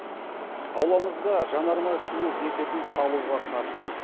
ауламызға жанармай құю бекетін салуға қарсымыз